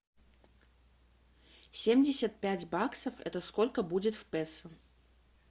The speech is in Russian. семьдесят пять баксов это сколько будет в песо